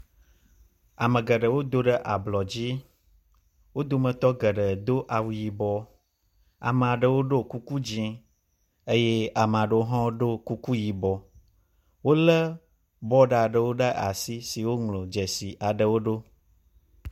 Ame geɖewo do ɖe ablɔ dzi wo dometɔ geɖe do awu yibɔ. Ame aɖewo ɖo kuku dzi eye ame aɖewo hã ɖo kuku yibɔ. Wo le bɔd aɖewo ɖe asi si dzi woŋlɔ dzesi aɖewo ɖo.